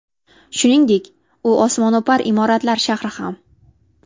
Shuningdek, u osmono‘par imoratlar shahri ham.